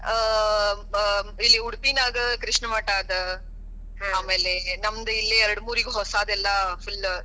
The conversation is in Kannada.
ಆ ಅ ಇಲ್ಲಿ ಉಡುಪಿನ್ಯಾಗ ಕೃಷ್ಣ ಮಠ ಅದ. ಆಮೇಲೆ ನಮ್ಮದ್ ಇಲ್ಲಿ ಯಾಡಮೂರ್ಗಿ ಹೊಸದ ಎಲ್ಲಾ full .